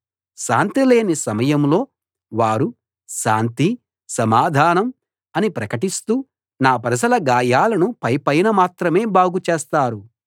శాంతి లేని సమయంలో వారు శాంతి సమాధానం అని ప్రకటిస్తూ నా ప్రజల గాయాలను పైపైన మాత్రమే బాగుచేస్తారు